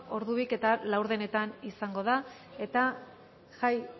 ordu biak eta laurdenetan izango da eta jai